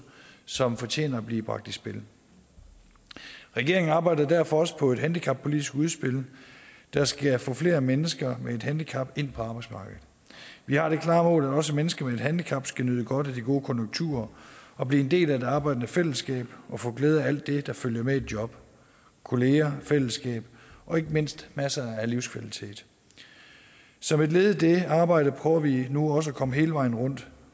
som fortjener at blive bragt i spil regeringen arbejder derfor også på et handicappolitisk udspil der skal få flere mennesker med et handicap ind på arbejdsmarkedet vi har det klare mål at også mennesker med et handicap skal nyde godt af de gode konjunkturer og blive en del af det arbejdende fællesskab og få glæde af alt det der følger med et job kolleger fællesskab og ikke mindst masser af livskvalitet som et led i det arbejde prøver vi nu også at komme hele vejen rundt